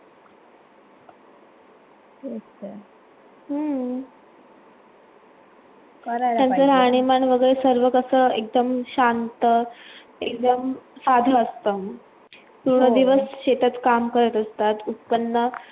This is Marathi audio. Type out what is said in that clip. हम्म त्यांच राहणीमान वगेरे सर्व कसं एकदम शांत एकदम साधं असतं पूर्ण दिवस शेतात काम करत असतात उत्पन्न.